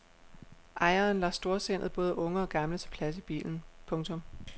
Ejeren lader storsindet både unge og gamle tage plads i bilen. punktum